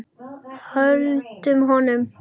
Höldum honum!